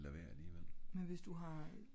men hvis du har